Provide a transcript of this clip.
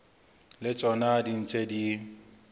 le tsona di ntse di